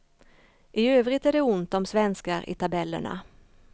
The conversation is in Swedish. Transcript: I övrigt är det ont om svenskar i tabellerna.